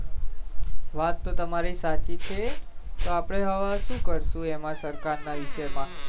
વાત તો તમારી સાચી છે તો હવે આપડે હવે શુ કરશું એમાં સરકાર ના વિષય માં